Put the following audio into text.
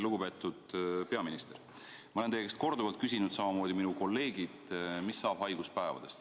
Lugupeetud peaminister, ma olen teie käest korduvalt küsinud, samamoodi minu kolleegid, mis saab haiguspäevadest.